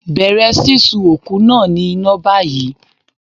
Bẹ̀rẹ̀ sísun òkú náà ní iná báyìí.